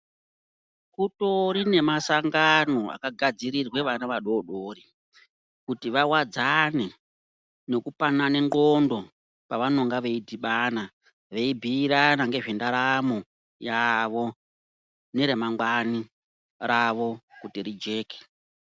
Kutorine masangano akagadzirirwe vana vadodori. Kuti vawadzane nekupanana ndxondo pavanenga veidhibana. Veibhuirana ngezvendaramo yavo neremangwani ravo kuti rijeke.